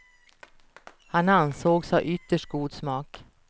Han ansågs ha ytterst god smak.